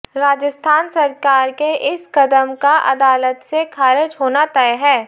राजस्थान सरकार के इस कदम का अदालत से खारिज होना तय है